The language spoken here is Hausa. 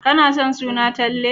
Kana son suna Talle?